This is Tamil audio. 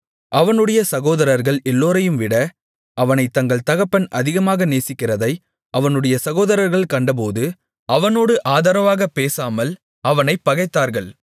அவனுடைய சகோதரர்கள் எல்லோரையும்விட அவனைத் தங்கள் தகப்பன் அதிகமாக நேசிக்கிறதை அவனுடைய சகோதரர்கள் கண்டபோது அவனோடு ஆதரவாகப் பேசாமல் அவனைப் பகைத்தார்கள்